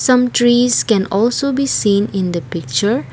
some trees can also be seen in the picture.